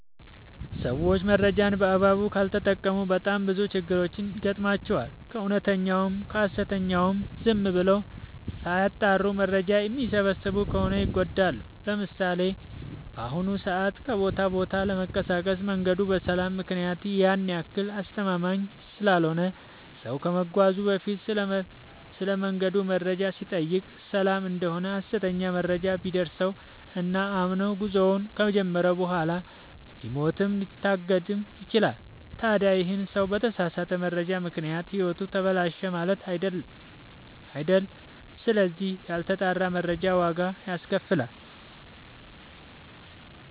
ሰዎች መረጃን በአግባቡ ካልተጠቀሙ በጣም ብዙ ችግሮች ይገጥሟቸዋል። ከእውነተኛውም ከሀሰተኛውም ዝም ብለው ሳያጠሩ መረጃ የሚሰበስቡ ከሆነ ይጎዳሉ። ለምሳሌ፦ በአሁኑ ሰዓት ከቦታ ወደ ቦታ ለመንቀሳቀስ መንገዱ በሰላም ምክንያት ያን ያክል አስተማመምኝ ስላልሆነ ሰው ከመጓዙ በፊት ስለመንገዱ መረጃ ሲጠይቅ ሰላም እደሆነ ሀሰተኛ መረጃ ቢደርሰው እና አምኖ ጉዞውን ከጀመረ በኋላ ሊሞትም ሊታገትም ይችላል። ታዲ ይህ ሰው በተሳሳተ መረጃ ምክንያት ህይወቱ ተበላሸ ማለት አይደል ስለዚህ ያልተጣራ መረጃ ዋጋ ያስከፍላል።